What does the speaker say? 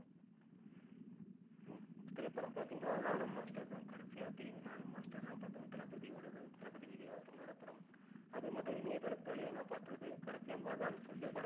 திரைபடம் பார்த்திங்கனா, நானும் மாஸ்டர் தான் கடைசியா திரைஅரங்குகள்ல நானும் மாஸ்டர்தான் பார்த்தன். தளபதி ஓடது தளபதி விஜய் அவர்களோட படம். அதே மாட்டம் இணையதலத்து வழியா நா பார்த்தது கடைசியா மகான் சொல்லி